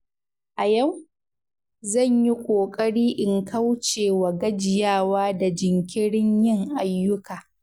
A yau, zan yi ƙoƙari in kauce wa gajiyawa da jinkirin yin ayyuka.